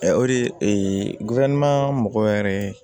o de mɔgɔ wɛrɛ